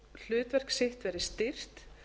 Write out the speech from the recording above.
hlutverk sitt verði styrkt